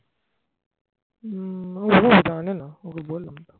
উম ও জানেনা ওকে বললাম